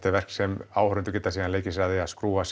er verk sem áhorfendur geta síðan leikið sér að að skrúfa